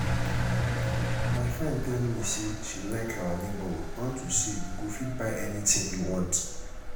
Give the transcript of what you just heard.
my friend tell me say she like our neighborhood unto say you go fit buy anything you want